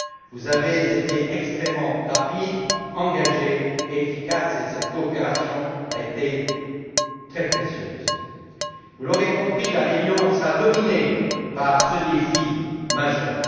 Vous avez été extrêmement rapides, engagés et efficaces, et cette coopération a été très précieuse. Vous l'aurez compris, la réunion sera dominée par ce défi majeur.